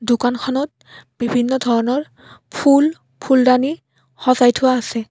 দোকানখনত বিভিন্ন ধৰণৰ ফুল ফুলদানি সজাই থোৱা আছে।